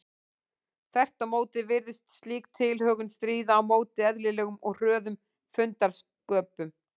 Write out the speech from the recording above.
Þvert á móti virðist slík tilhögun stríða á móti eðlilegum og hröðum fundarsköpum.